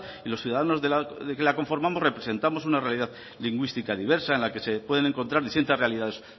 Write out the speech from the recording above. y los ciudadanos que la conformamos representamos una realidad lingüística diversa en la que se pueden encontrar distintas realidades